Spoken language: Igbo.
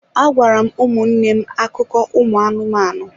Agwara m ụmụnne m akụkọ ụmụ anụmanụ